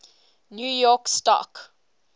new york stock